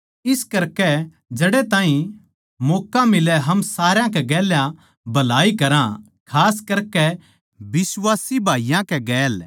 इस करके जड़ै ताहीं मौक्का मिलै हम सारा के गेल्या भलाई करा खास करकै बिश्वासी भाईयाँ के गैल